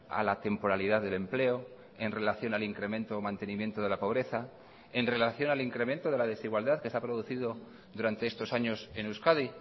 a la temporalidad del empleo en relación al incremento o mantenimiento de la pobreza en relación al incremento de la desigualdad que se ha producido durante estos años en euskadi